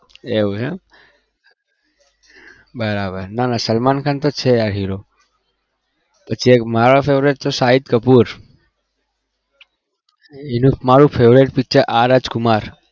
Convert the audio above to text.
એવું એમ બરાબર ના ના સલમાન ખાન તો છે આ hero પછી એક મારો favourite તો શાહિદ કપૂર એનું મારું favourite picture આર રાજકુમાર